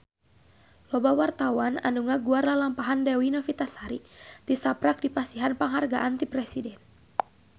Loba wartawan anu ngaguar lalampahan Dewi Novitasari tisaprak dipasihan panghargaan ti Presiden